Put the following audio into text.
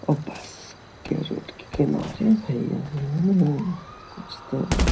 और बस के रूट किनारे कुछ तो --